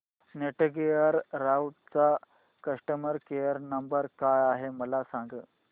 Netgear राउटरचा customer care number काय आहे मला सांग